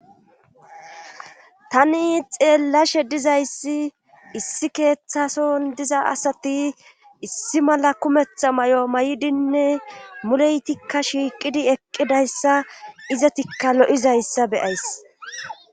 Tani xeellashe dizayssi issi keeththason diza asati issi mala kumetha may'o may'dinne muleytikka shiiqidi eqqidayssa izatikka lo'izayssa beyays.